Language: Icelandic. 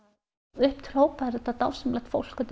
upp til hópa er þetta dásamlegt fólk undir